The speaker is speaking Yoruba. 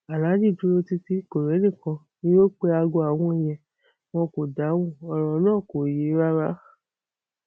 aláàjì dúró títí kò rẹnìkan ni o pé aago àwọn yẹn wọn kò dáhùn ọrọ náà kò yé e rárá